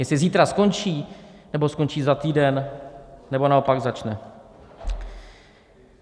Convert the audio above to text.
Jestli zítra skončí, nebo skončí za týden, nebo naopak začne.